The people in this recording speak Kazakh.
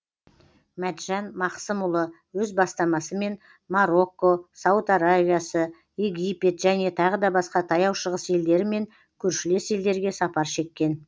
мәтжан мақсымұлы өз бастамасымен марокко сауд аравиясы египет және тағы да басқа таяу шығыс елдері мен көршілес елдерге сапар шеккен